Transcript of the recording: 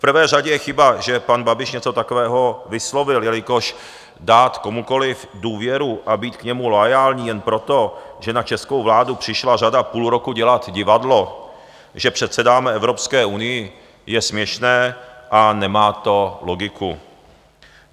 V prvé řadě je chyba, že pan Babiš něco takového vyslovil, jelikož dát komukoli důvěru a být k němu loajální jen proto, že na českou vládu přišla řada půl roku dělat divadlo, že předsedáme Evropské unii, je směšné a nemá to logiku.